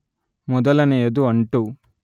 ಮೊದಲನೆಯದು ಅಂಟು